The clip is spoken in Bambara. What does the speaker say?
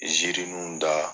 Ziirirun da